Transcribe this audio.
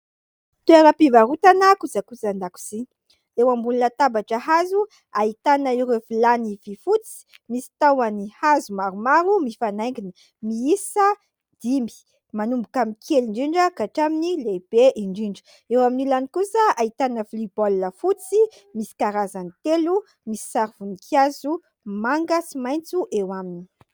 Toeram-pivarotana kojakojan-dakozia eo ambony latabatra hazo : ahitana ireo vilany vy fotsy misy tahony hazo maromaro, mifanaingina miisa dimy, manomboka amin'ny kely indrindra ka hatramin'ny lehibe indrindra . Eo amin'ny ilany kosa : ahitana vilia baolina fotsy misy karazany telo, misy sary voninkazo manga sy maitso eo aminy.